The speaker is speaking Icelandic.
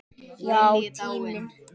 Já, tíminn.